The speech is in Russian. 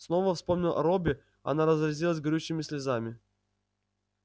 снова вспомнив о робби она разразилась горючими слезами